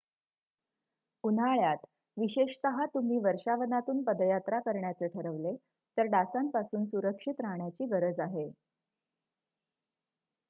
उन्हाळ्यात विशेषतः तुम्ही वर्षावनातून पदयात्रा करण्याचे ठरवले तर डासांपासून सुरक्षित राहण्याची गरज आहे